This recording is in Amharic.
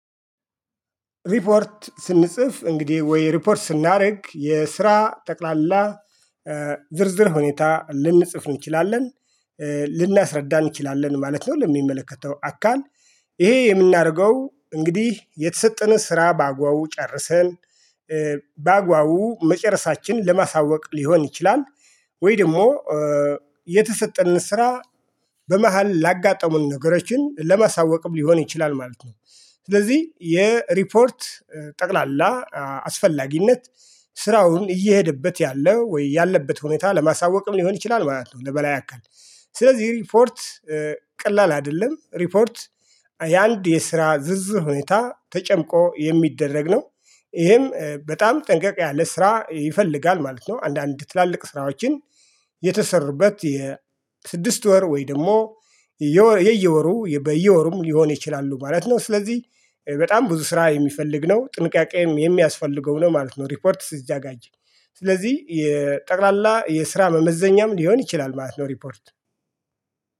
ሪፖርት ስንጽፍ እንግዲህ ወይ ሪፖርት ስናርግ የስራ ጠቅላላ ዝርዝር ሁኔታ ልንጽፍ እንችላለን ልናስረዳ እንችላለን ማለት ነው። ለሚመለከተው አካል ይሄ የምናረገው እንግዲህ የተሰጠንን ስራ በአግባቡ ጨርሰን በአግባቡ መጨረሳችን ለማሳወቅ ሊሆን ይችላል። ወይ ደሞ የተሰጠንን ስራ በመሃል ላጋጠሙን ነገሮችን ለማሳወቅም ሊሆን ይችላል ማለት ነው። ስለዚህ የሪፖርት ጠቅላላ አስፈላጊነት ስራውን እየሄደበት ያለ ወይ ያለበት ሁኔታ ለማሳወቅም ሊሆን ይችላል ማለት ነው። ለበላይ አካል ስለዚህ ሪፖርት ቀላል አደለም ሪፖርት የአንድ የስራ ዝርዝር ሁኔታ ተጨምቆ የሚደረግ ነው። እሄም በጣም ጥንቀቅ ያለ ስራ ይፈልጋል ማለት ነው። አንዳንድ ትላልቅ ስራዎችን የተሰሩበት የስድስት ወር ወይ ደሞ የየወሩ በየወሩም ሊሆን ይችላሉ ማለት ነው። ስለዚህ በጣም ብዙ ስራ የሚፈልግ ነው ጥንቃቄም የሚያስፈልገው ነው ማለት ነው። ሪፖርት ሲዘጋጅ ስለዚህ የጠቅላላ የስራ መመዘኛም ሊሆን ይችላል ማለት ነው። ሪፖርት